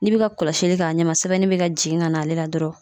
N'i bi ka kɔlɔsili k'a ɲɛma sɛbɛnni be ka jigin ka n'ale la dɔrɔn